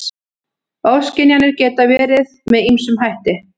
Ofskynjanir geta verið með ýmsum hætti.